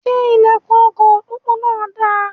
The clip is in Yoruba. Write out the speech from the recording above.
Ṣe ilẹkùn ọkọ pópó náà dà?